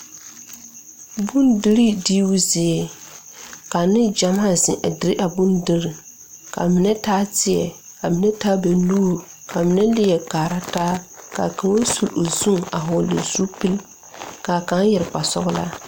Bondirii diibu zie ka neŋ gyamaa zeŋ a dire a bondirii kaa mine taa teɛ kaa mine taa ba nuure kaa mine leɛ kaara taa kaa kaŋ sule o zu a hɔɔle zupil kaa kaŋ yɛre kparesɔglaa.